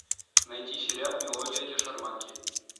найти сериал мелодия для шарманки